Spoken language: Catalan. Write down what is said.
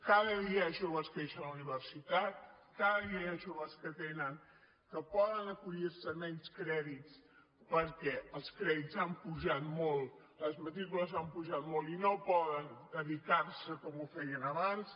cada dia hi ha joves que deixen la universitat cada dia hi ha joves que poden acollir se a menys crèdits perquè els crèdits han pujat molt les matrícules han pujat molt i no poden dedicar s’hi com ho feien abans